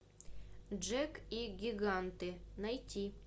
джек и гиганты найти